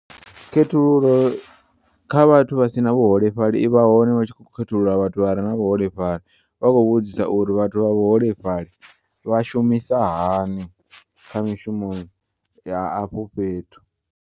Khethululo kha vhathu vhasina vhuholefhali ivha hone hutshi kho khethulula vhathu vhare na vhuholefhali vha kho vhudzisa uri vhathu vha vhu holefhali vha shumisa hani kha mishumo ya afho fhethu.